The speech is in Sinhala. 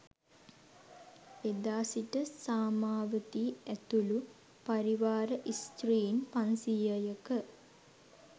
එදා සිට සාමාවතී ඇතුළු පරිවාර ස්ත්‍රීන් පන්සීයක